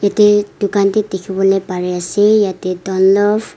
Eteh dukhan bhi dekhivole parey ase yatheh downloaf--